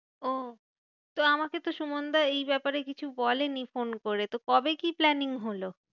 ওহ তো আমাকে তো সুমনদা এই ব্যাপারে কিছু বলেনি ফোন করে, তো কবে কি planning হলো?